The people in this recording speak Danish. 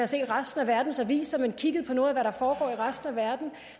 set resten af verdens aviser men kigget på noget af hvad der foregår i resten af verden